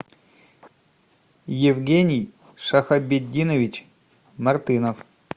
евгений шахобетдинович мартынов